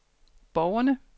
borgerne